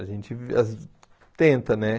A gente tenta, né?